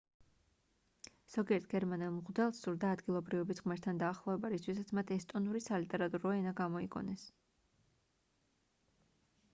ზოგიერთ გერმანელ მღვდელს სურდა ადგილობრივების ღმერთთან დაახლოება რისთვისაც მათ ესტონური სალიტერატურო ენა გამოიგონეს